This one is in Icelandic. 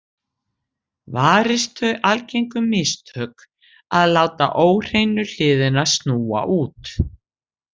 Varist þau algengu mistök að láta óhreinu hliðina snúa út.